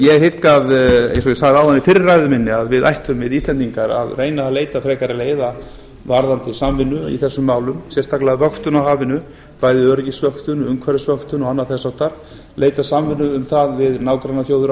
ég hygg eins og ég sagði áðan í fyrri ræðu minni að við ættum íslendingar að reyna að leita frekari leiða varðandi samvinnu í þessum málum sérstaklega vöktun á hafinu bæði öryggisvöktun umhverfisvöktun og annað þess háttar leita samvinnu um það við nágrannaþjóðir